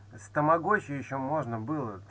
с тамагочи ещё можно было